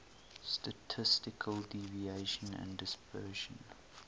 statistical deviation and dispersion